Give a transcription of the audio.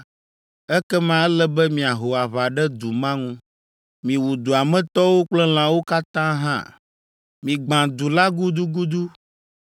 ekema ele be miaho aʋa ɖe du ma ŋu. Miwu dua me tɔwo kple lãwo katã hã. Migbã du la gudugudu.